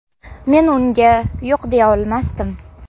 Men unga yo‘q deya olmasdim.